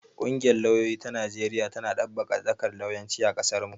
Ƙungiyar lauyoyi ta Najeriya tana ɗabbaƙa dakar lauyanci a ƙasarmu.